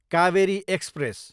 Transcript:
Kaveri express